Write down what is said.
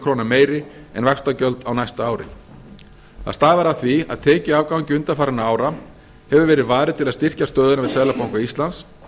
króna meiri en vaxtagjöld á næsta ári það stafar af því að tekjuafgangi undanfarinna ára hefur verið varið til að styrkja stöðuna við seðlabanka íslands